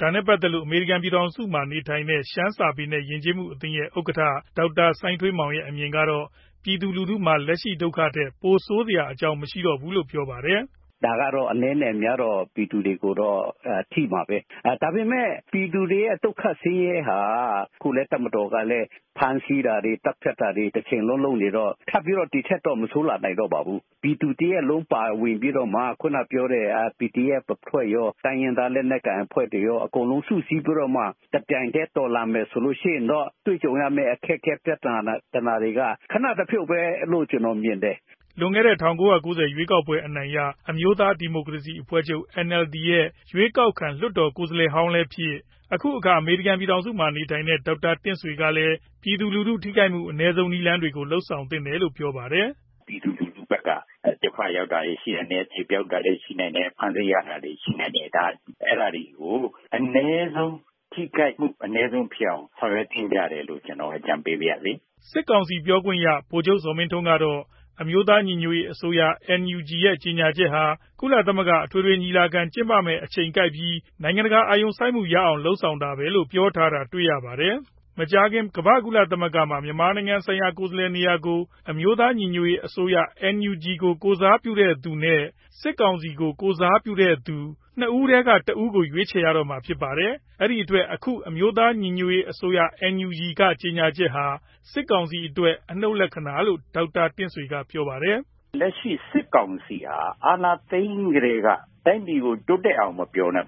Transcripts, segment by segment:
ဒါနဲ့ ပတ်သက်လို့ အမေရိကန် ပြည်ထောင်စုမှာ နေထိုင်တဲ့ ရှမ်းစာပေ နဲ့ ယဉ်ကျေးမှုအသင်း ရဲ့ဥက္ကဌ ဒေါက်တာ စိုင်းထွေးမောင် ရဲ့ အမြင်ကတော့ ပြည်သူလူထုမှာ လက်ရှိဒုက္ခထက် ပိုဆိုးစရာ မရှိဘူးလို့ပြောပြပါတယ်။ " ဒါကတော့ အနည်းနဲ့အများတော့ ပြည်သူတွေကိုထိမှာပဲ။ ဒါပေမယ့် ပြည်သူတွေရဲ့ ဒုက္ခဆင်းရဲဟာ ခုလည်းတပ်မတော်ကနေ ဖမ်းဆီးတာတွေ၊ သတ်ဖြတ်တာတွေ တချိန်လုံးလုပ်နေတော့ ထပ်ပြီးတော့ ဒီထက်တော့ မဆိုးနိုင်ပါဘူး။ ပြည်သူတရပ်လုံးပါဝင်ပြီးတော့မှ အခုနကပြောတဲ့ PDF အဖွဲ့ရော တိုင်းရင်းသားအဖွဲ့ရော အကုန်လုံးစုစည်းပြီးတော့မှ တပြိုင်တည်း တော်လှန်မယ်ဆိုလို့ရှိရင်တော့ တွေ့ကြုံရမယ့် အခက်အခဲ ပြသာနာတွေက ခနတဖြုတ်ပဲလို့ ကျနော်မြင်တယ်" လွန်ခဲ့တဲ့ ၁၉ ၉ ဝ ခုနှစ် ရွေးကောက်ပွဲအနိုင်ရ အမျိုးသားဒီမိုကရေစီအဖွဲ့ချုပ် NLD ရဲ့ ရွေးကောက်ခံ လွှတ်တော်ကိုယ်စားလှယ်ဟောင်းလည်းဖြစ် ၊ အခုအခါ အမေရိကန်ပြည်ထောင်စု မှာနေထိုင်နေတဲ့ ဒေါက်တာတင့်ဆွေ ကလည်း ပြည်သူလူထု့ထိခိုက်မှုအနည်းဆုံးနည်းတွေကို လုပ်ဆောင်သင့်တယ်လို့ပြောပါတယ်။ " ပြည်သူလူထုဖက်က ဒုက္ခရောက်တာတွေရှိနိုင်တယ်။ သေပျောက်တာတွေရှိနိုင်တယ်။ ဖမ်းဆီးခံရတာရှိနိုင်တယ်။ အဲဒါတွေကို အနည်းဆုံးထိခိုက်မှု ဖြစ်အောင် အကြံပေးပရစေ" စစ်ကောင်စီ ပြောခွင့်ရသူ ဗိုလ်ချုပ်ဇော်မင်းထွန်းကတော့ အမျိုးသားညီညွတ်ရေးအစိုးရ NUG ရဲ့ ကြေညာချက်ဟာ ကုလသမဂ္ဂအထွေထွေညီလာခံကျင်းပမယ့် အချိန်ကိုက်ပြီး နိုင်ငံတကာအာရုံစိုက်မှု ရအောင်လုပ်ဆောင်တာပဲဖြစ်တယ်လို့ ပြောထားတာတွေ့ရပါတယ်။ မကြာခင် ကမ္ဘာ့ကုလသမဂ္ဂမှာ မြန်မာနိုင်ငံဆိုင်ရာ ကိုယ်စားလှယ်နေရာကို အမျိုးသား ညီညွတ်ရေးအစိုးရ NUG ကို ကိုယ်စားပြု့တဲ့သူနဲ့ စစ်ကောင်စီကို ကိုယ်စားပြုသူ ဆိုပြီး (၂)ဦးထဲက တဦးဦး ရွေးချယ်ရတော့မှာဖြစ်ပါတယ်။ အဲဒီအတွက် အခု အမျိုးသား ညီညွတ်ရေးအစိုးရ NUG က ကြေညာချက်ဟာ စစ်ကောင်စီအတွက် အနုတ်လက္ခဏာလို့ ဒေါက်တာတင့်ဆွေ ကတော့ ပြောပါတယ်။ "လက်ရှိစစ်ကောင်စီဟာ အာဏာသိမ်းပြီးကတည်းက တိုင်းပြည်ကို တိုးတက်အောင်မပြောနဲ့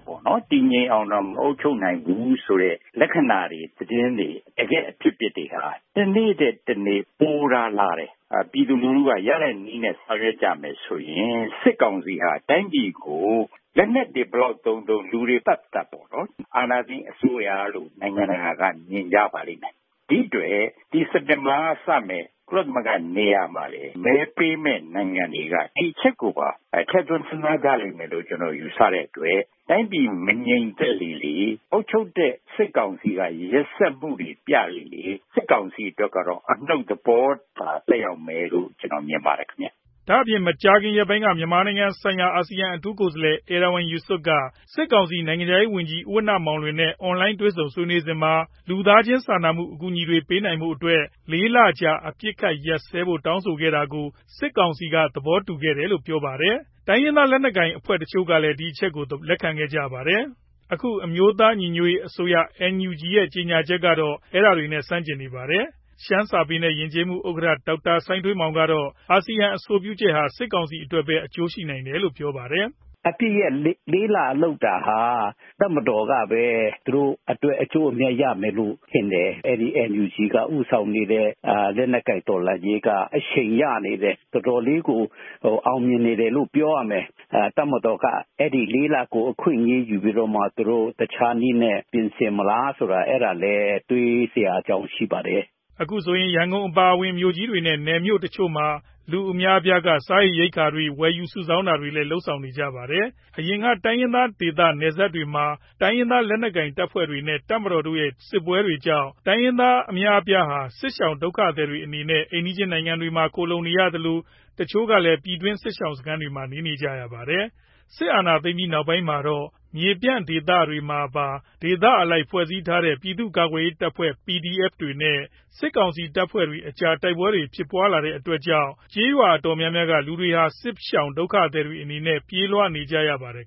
တည်ငြိမ်အောင်တောင် မအုပ်ချုပ်နိုင်ဘူးဆိုတဲ့ လက္ခဏာတွေ၊ သတင်းတွေ၊ တကယ့်အဖြစ်အပျက်တွေဟာ တနေ့ထက် တနေ့ပိုသာလာတယ် ပြည်သူလူထုက ရတဲ့နည်းနဲ့ ဆောင်ရွက်ကြမယ်ဆိုရင် စစ်ကောင်စီဟာ တိုင်းပြည်ကို လက်နက်တွေဘယ်လောက်သုံးသုံး လူတွေဘယ်လောက်သတ်သတ် အာဏာသိမ်းအစိုးရလို့ နိုင်ငံတကာက မြင်ကြပါလိမ့်မယ်။ ဒီအတွက် ဒီစက်တင်ဘာကစမယ့် ကုလသမဂ္ဂနေရာမှာ မဲပေးမယ့်နိုင်ငံတွေက ဒီအချက်ကိုပါထဲ့သွင်းစဉ်းစားကြလိမ့်မယ်လို့ ယူဆကြတဲ့အတွက် တိုင်းပြည်မငြိမ်သက်လေလေ အုပ်ချုပ်တဲ့ စစ်ကောင်စီက ရက်စက်မှုတွေပြလေလေ စစ်ကောင်စီအတွက်ကတော့ အနုတ်သဘောသာ သက်ရောက်လိမ့်မယ်လို့ မြင်ပါတယ်ခင်ဗျာ့" ဒါအပြင် မကြာခင်ရက်ပိုင်းက မြန်မာနိုင်ငံဆိုင်ရာ အာစီယံအထူးကိုယ်စားလှယ် Erywan Yusof က စစ်ကောင်စီနိုင်ငံခြားရေးဝန်ကြီး ဦးဝဏ္ဏမောင်လွင် နဲ့ အွန်လိုင်းက တွေ့ဆုံစဉ်မှာ လူသားချင်း စာနာမှုဆိုင်ရာ အကူအညီတွေပေးနိုင်ဖို့အတွက် လေးလကြာအပစ်အခတ်ရပ်စဲပေးဖို့တောင်းဆိုခဲ့တာ ကို စစ်ကောင်စီက သဘောတူတယ်လို့ပြောပါတယ်။ ဆက်လက်ပြီး တိုင်းရင်းသား လက်နက်ကိုင်အဖွဲ့တချို့ကလည်း လက်ခံကြပါတယ်။ ဒါပေမယ့် အခု အမျိုးသား ညီညွတ်ရေးအစိုးရ NUG ရဲ့တတိုင်းပြည်လုံး ခုခံစစ် ကြေညာချက်ဟာ အဲဒါတွေနဲ့ ဆန့်ကျင်နေပါတယ်။ ရှမ်းစာပေနဲ့ ယဉ်ကျေးမှု ဥက္ကဌ ဒေါက်တာ စိုင်းထွေးမောင် ကတော့ အာစီယံအဆိုပြုချက်ဟာ စစ်ကောင်စီ အတွက်ပဲ အကျိုးရှိနိုင်တယ်လို့ ပြောပါတယ်။ "အပစ်ရပ် လေးလလုပ်တာဟာ တပ်မတော်ကပဲ သူတို့အတွက် အကျိုးအမြတ်ရမယ်လို့ထင်တယ်။ အဲဒီ NUG က ဦးဆောင်နေတဲ့ လက်နက်ကိုင်တော်လှန်ရေးက အရှိန်ရနေတယ်။ တော်တော်လေးကို အောင်မြင်နေတယ်ပြောရမယ်။ တပ်မတော်က အဲဒီလေးလကို အခွင့်အရေးယူပြီးတော့မှ တခြားနည်းနဲ့ ပြင်ဆင်မလားဆိုတာ တွေးစရာအကြောင်းရှိပါတယ်" အခုဆိုရင် ရန်ကုန်အပါအဝင် မြို့ကြီးတွေနဲ့ နယ်မြို့တချို့ လူအများအပြားက စာရေရိက္ခာတွေ ဝယ်ယူစုဆောင်းတာတွေလည်း လုပ်ဆောင်ကြပါတယ်။ အရင်က တိုင်းရင်းသား ဒေသနယ်စပ်တွေမှာ တိုင်းရင်းသား လက်နက်ကိုင်တပ်ဖွဲ့တွေနဲ့ တပ်မတော်တို့ ရဲ့ စစ်ပွဲတွေကြောင့် တိုင်းရင်းသား အများအပြားဟာ စစ်ရှောင်ဒုက္ခသည်တွေအနေနဲ့ အိမ်နီးချင်းနိုင်ငံ တွေမှာ ခိုလှုံနေရသလို တချို့ကလည်း ပြည်တွင်း စစ်ရှောင်စခန်းတွေမှာ နေနေကြရပါတယ်။ စစ်အာဏာသိမ်းပြီး နောက်ပိုင်း မြေပြန့်ဒေသတွေမှာပါ ဒေသအလိုက်ဖွဲ့စည်းထားကြတဲ့ ပြည်သူ ကာကွယ်ရေးတပ်ဖွဲ့ PDF တွေနဲ့ စစ်ကောင်စီတပ်ဖွဲ့တွေ အကြားတိုက်ပွဲတွေဖြစ်ပွား လာတဲ့ အတွက် ကျေးရွာအတော်များများက လူတွေဟာ စစ်ရှောင်ဒုက္ခသည်တွေအဖြစ် ပြေးလွှားနေကြရပါတယ်